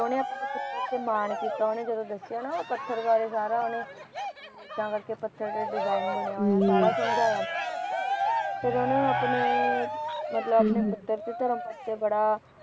ਉਹਨੇ ਆਪਣੇ ਪੁਤਰ ਤੇ ਮਾਨ ਕੀਤਾ ਉਹਨੇ ਜਦੋਂ ਦੱਸਿਆ ਨਾ ਉਹ ਪੱਥਰ ਬਾਰੇ ਸਾਰਾ ਇਂਦਾ ਕਰਕੇ ਪੱਥਰ ਤੇ ਡਿਜਾਇਨ ਬਣਿਆ ਹੋਇਆ ਸਾਰਾ ਸਮਜਾਇਆ ਫਿਰ ਉਹਨੂੰ ਆਪਣੇ ਮਤਲਬ ਆਪਣੇ ਧਰਮ ਪੱਤ ਤੇ ਬੜਾ